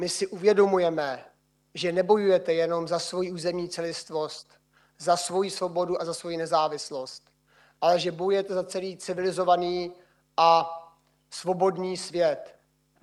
My si uvědomujeme, že nebojujete jenom za svoji územní celistvost, za svoji svobodu a za svoji nezávislost, ale že bojujete za celý civilizovaný a svobodný svět.